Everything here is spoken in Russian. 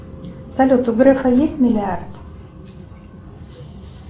салют у грефа есть миллиард